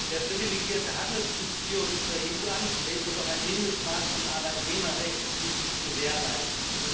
Wer privilegierte Handelsbeziehungen zur EU anstrebt, muss auch ein Mindestmaß an Arbeitnehmerrechten gewährleisten.